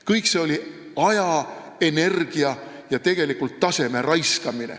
Kõik see oli aja, energia ja tegelikult taseme raiskamine.